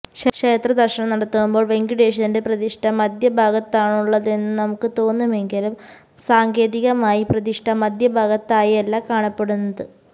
ക്ഷേത്ര ദര്ശനം നടത്തുമ്പോള് വെങ്കടേശ്വരന്റെ പ്രതിഷ്ഠ മദ്ധ്യഭാഗത്താണുള്ളതെന്ന് നമുക്ക് തോന്നുമെങ്കിലും സാങ്കേതികമായി പ്രതിഷ്ഠ മധ്യഭാഗത്തായല്ല കാണപ്പെടുന്നത്